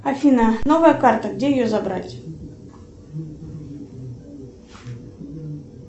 афина новая карта где ее забрать